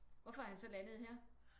Hvorfor er han så landet her?